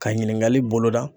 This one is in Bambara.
Ka ɲininkali boloda.